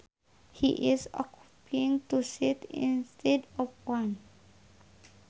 He is occupying two seats instead of one